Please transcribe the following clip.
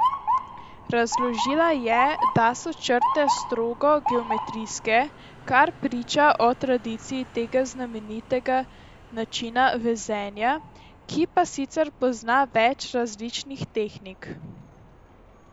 Razložila je, da so črte strogo geometrijske, kar priča o tradiciji tega znamenitega načina vezenja, ki pa sicer pozna več različnih tehnik.